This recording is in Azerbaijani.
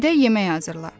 Gedək yemək hazırla.